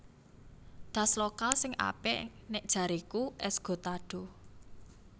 Tas lokal sing apik nek jareku Esgotado